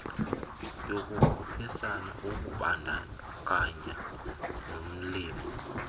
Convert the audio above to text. yokukhuphisana ukubandakanya nolimo